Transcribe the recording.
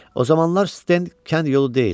O zamanlar Sten kənd yolu deyildi.